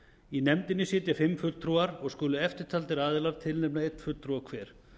í nefndinni sitja fimm fulltrúar og skulu eftirtaldir aðilar tilnefna einn fulltrúa hver